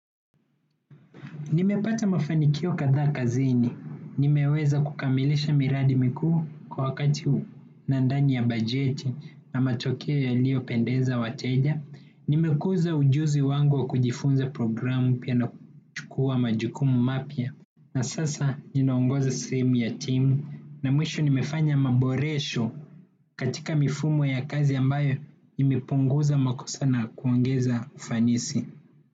Nimepata mafanikio kadhaa kazini. Nimeweza kukamilisha miradi mikuu kwa wakati nadhani ya bajeti na matokeo yaliopendeza wateja. Nimekuza ujuzi wangu wa kujifunza programu pia na kuchukua majukumu mapya na sasa ninaongoza sehemu ya timu na mwisho nimefanya maboresho katika mifumo ya kazi ambayo nimepunguza makosa na kuongeza ufanisi.